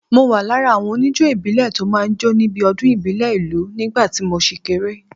Mo wà lára àwọn oníjó ìbílẹ̀ tó máa ń jó níbi ọdún ìbílẹ̀ ìlú nígbà tí mo ṣì kéré